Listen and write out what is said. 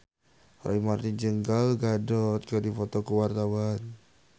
Roy Marten jeung Gal Gadot keur dipoto ku wartawan